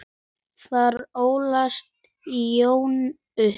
Þar ólst Jón upp.